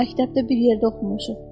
Məktəbdə bir yerdə oxumuşuq.